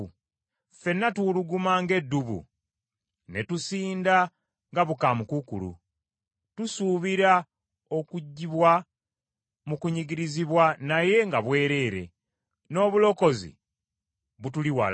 Ffenna tuwuluguma ng’eddubu ne tusinda nga bukaamukuukulu. Tusuubira okuggyibwa mu kunyigirizibwa naye nga bwereere, n’obulokozi butuliwala.